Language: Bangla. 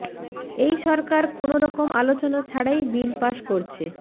এই সরকার কোনও রকম আলোচনা ছাড়াই বিল পাশ করছে